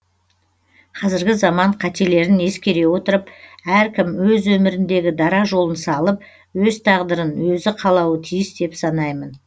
қазіргі заман қателерін ескере отырып әркім өз өміріндегі дара жолын салып өз тағдырын өзі қалауы тиіс деп санаймын